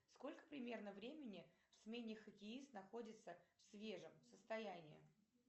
сколько примерно времени в смене хоккеист находится в свежем состоянии